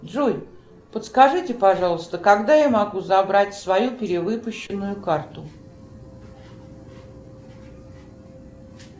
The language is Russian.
джой подскажите пожалуйста когда я могу забрать свою перевыпущенную карту